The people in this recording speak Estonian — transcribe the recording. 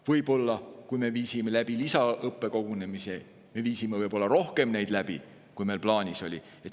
Võib-olla siis, kui meil olid lisaõppekogunemised, tegime me neid rohkem, kui meil plaanis oli.